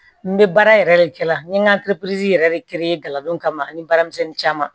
N bɛ baara yɛrɛ de kɛ la n ye n ka yɛrɛ de kɛ n ye galabuw kama ani baaramisɛnnin caman